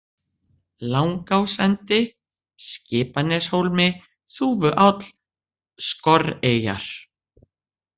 Langásendi, Skipaneshólmi, Þúfuáll, Skorreyjar